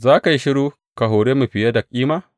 Za ka yi shiru ka hore mu fiye da kima?